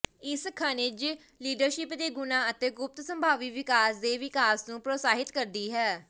ਇਹ ਖਣਿਜ ਲੀਡਰਸ਼ਿਪ ਦੇ ਗੁਣਾਂ ਅਤੇ ਗੁਪਤ ਸੰਭਾਵੀ ਵਿਕਾਸ ਦੇ ਵਿਕਾਸ ਨੂੰ ਪ੍ਰੋਤਸਾਹਿਤ ਕਰਦੀ ਹੈ